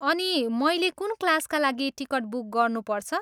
अनि मैले कुन क्लासका लागि टिकट बुक गर्नुपर्छ?